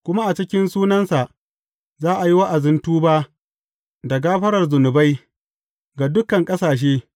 Kuma a cikin sunansa za a yi wa’azin tuba da gafarar zunubai, ga dukan ƙasashe.